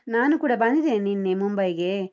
ನಾನೂ ಕೂಡ ಬಂದಿದ್ದೇನೆ ನಿನ್ನೆ ಮುಂಬೈಗೆ.